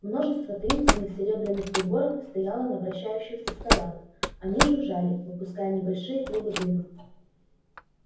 множество таинственных серебряных приборов стояло на вращающихся столах они жужжали выпуская небольшие клубы дыма